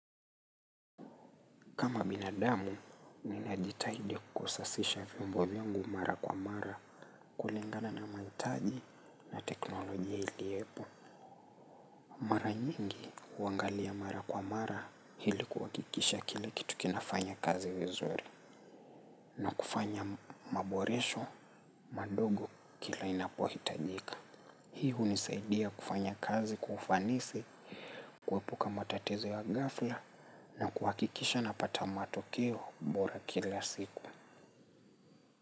Kama binadamu, ninajitaidi kukosasisha vyombo vyangu mara kwa mara kulingana na maitaji na teknolojia iliepo. Mara nyingi huangalia mara kwa mara ili kuhakikisha kile kitu kinafanya kazi vizuri na kufanya maboresho madogo kila inapohitajika. Hii hunisaidia kufanya kazi kwa ufanisi, kuepuka matatizo ya gafla na kuhakikisha napata matokeo bora kila siku.